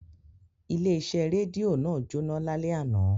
Ile ise redio naa jona lale ana.